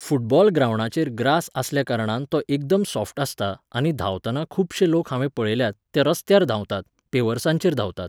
football ग्रांवडाचेर grass आसल्या कारणान तो एकदम सॉफ्ट आसता आनी धांवताना खुबशे लोक हांवें पळयल्यात, ते रस्त्यार धांवतात, पेवर्सांचेर धांवतात